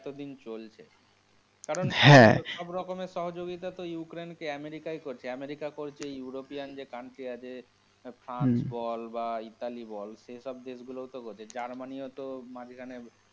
এতদিন চলছে হ্যাঁ কারণ সব রকমের সহযোগিতা তো ইউক্রেইন্ কে তো আমেরিকা ই করছে, আমেরিকা করছে ইউরোপিয়ান যে country আছে, ফ্রান্স বল বা ইতালি বল, সে সব দেশগুলোও তো করছে, জার্মানি ও তো মাঝখানে।